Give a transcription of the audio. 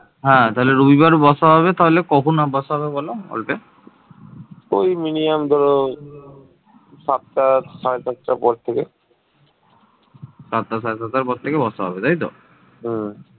তবে মানুষ ঠিক কবে প্রথম বাংলায় প্রবেশ করে সে ব্যপারে গবেষকদের মধ্যে ঐকমত্য নেই